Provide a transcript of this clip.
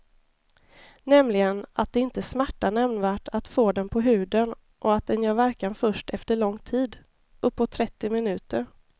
Nämligen att det inte smärtar nämnvärt att få den på huden och att den gör verkan först efter lång tid, uppåt trettio minuter.